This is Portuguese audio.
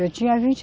Eu tinha vinte